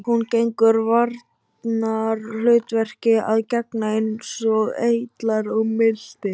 Hún hefur varnarhlutverki að gegna eins og eitlar og milti.